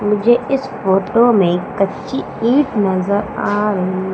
मुझे इस फोटो में कच्ची ईंट नजर आ रही--